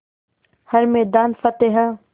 हर मैदान फ़तेह